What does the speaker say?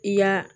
I y'a